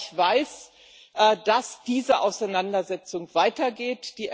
Ich weiß, dass diese Auseinandersetzung weitergeht.